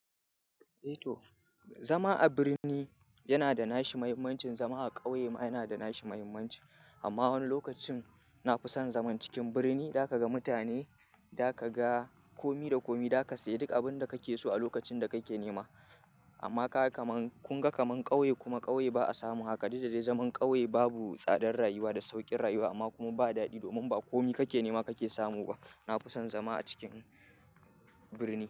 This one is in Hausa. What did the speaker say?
Eh to, zama a birni yana da nashi muhimmancin, zama a ƙauye ma yana da nashi muhimmanci. Amma wani lokacin na fi son zaman cikin birni, da ka ga mutane, da ka ga komi da komi, da ka sayi duk abin da kake so a lokacin da kake nema. Amma ka kaman-- kun ga kaman ƙauye kuma ƙauye ba a samu haka. Dakda dai zaman ƙauye babu tsadar rayuwa da sauƙin rayuwa amma kuma ba daɗi domin ba komi kake nema kake samu ba. Na fi son zama a cikin birni.